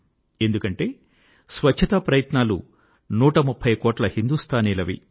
ఎందుకంటే స్వచ్చతా ప్రయత్నాలు నూట ముప్ఫై కోట్ల హిందూస్తానీలవి